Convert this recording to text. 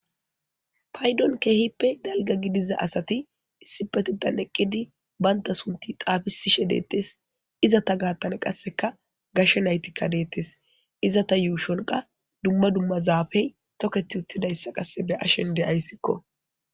Paydon keehippe dalga gidiza asati issipetethani eqid banta sunti xafisishe detes. Izeta gatan qaseka gashe naytika detesi. Izeta yushon qaseka dumma dumma zaafey toketi utidaysa be'ashe de'aysko.